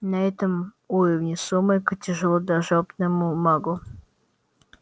на этом уровне сумрака тяжело даже опытному магу